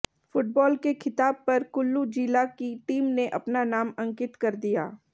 football के खिताब पर कुल्लू जिला की टीम ने अपना नाम अंकित कर दिया